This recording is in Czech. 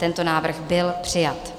Tento návrh byl přijat.